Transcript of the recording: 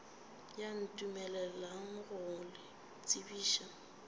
ye ntumeleleng go le tsebiša